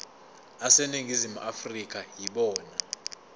aseningizimu afrika yibona